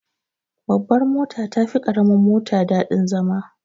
Babbar mota tafi karamin mota daɗin zama.